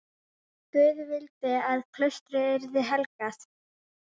Guð vildi að klaustrið yrði helgað.